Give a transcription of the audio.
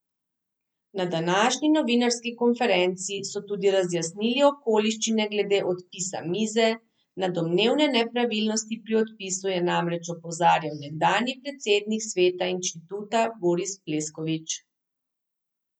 Na današnji novinarski konferenci so tudi razjasnili okoliščine glede odpisa mize, na domnevne nepravilnosti pri odpisu je namreč opozarjal nekdanji predsednik sveta inštituta Boris Pleskovič.